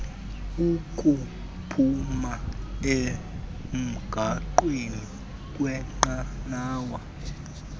ukuphuma emgaqweni kwnqanawa